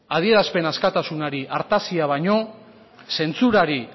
adierazpen askatasunari artazia baino zentsurari